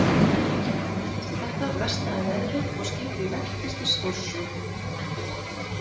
Eftir þetta versnaði veðrið og skipið velktist í stórsjó.